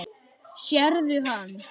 Sérðu hann?